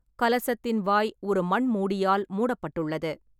கலசத்தின் வாய் ஒரு மண் மூடியால் மூடப்பட்டுள்ளது.